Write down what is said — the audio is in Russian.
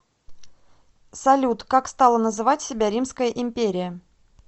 салют как стала называть себя римская империя